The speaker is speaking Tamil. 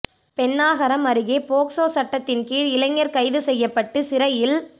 பென்னாகரம் அருகே போக்சோ சட்டத்தின் கீழ் இளைஞர் கைது செய்யப்பட்டு சிறையில்